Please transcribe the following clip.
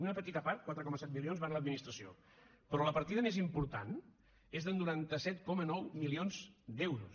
una petita part quatre coma set milions van a l’administració però la partida més important és de noranta set coma nou milions d’euros